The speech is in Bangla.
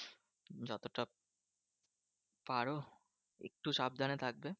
পারো একটু সাবধানে থাকবে।